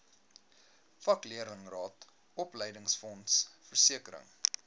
vakleerlingraad opleidingsfonds versekering